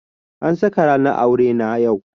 An saka ranar aure na yau.